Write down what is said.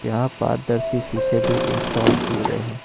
यहां पारदर्शी शीशे भी इंस्टॉल किए गए हैं।